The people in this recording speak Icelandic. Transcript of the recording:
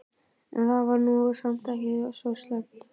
En það var nú samt ekki svo slæmt.